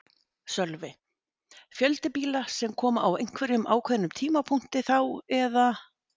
Sölvi: Fjölda bíla sem koma á einhverjum ákveðnum tímapunkti þá eða?